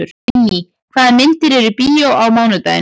Vinný, hvaða myndir eru í bíó á mánudaginn?